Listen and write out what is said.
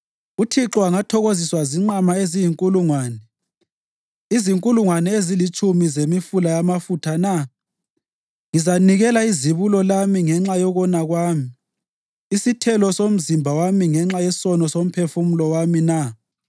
UThixo angathokoziswa zinqama eziyizinkulungwane, izinkulungwane ezilitshumi zemifula yamafutha na? Ngizanikela izibulo lami ngenxa yokona kwami, isithelo somzimba wami ngenxa yesono somphefumulo wami na?